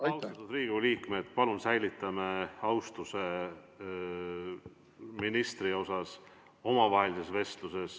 Austatud Riigikogu liikmed, palun säilitame omavahelises vestluses austuse ministri vastu.